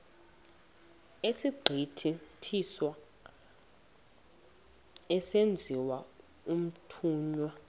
egqithiswa esenziwa umthunywa